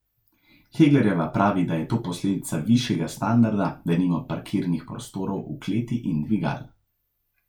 Heglerjeva pravi, da je to posledica višjega standarda, denimo parkirnih prostorov v kleti in dvigal.